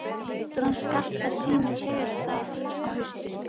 Náttúran skartar sínu fegursta á haustin.